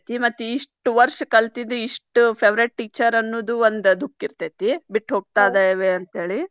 ಮತ್ತ್ ಇಷ್ಟ್ ವರ್ಷ್ ಕಲ್ತಿದ್ದ ಇಷ್ಟ್ favourite teacher ಅನ್ನುದ ಒಂದ್ ದುಃಖ ಇರ್ತೇತಿ ಬಿಟ್ಟ ಹೋಗ್ತಾಯಿದಾವೆ ಅಂತೇಳಿ.